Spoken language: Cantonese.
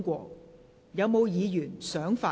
是否有議員想發言？